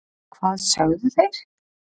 hvað sögðu þeir?